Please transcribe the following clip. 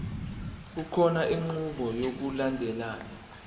kukhona inqubo yokulandelayo